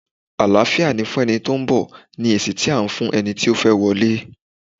Àláfíà fún ẹni tí ó ń bọ̀! ni èsì tí à á fún eni ti ó fẹ́ wọlé.